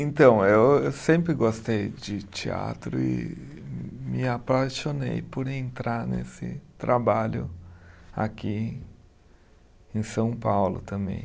Então, eu eu sempre gostei de teatro e me apaixonei por entrar nesse trabalho aqui em São Paulo também.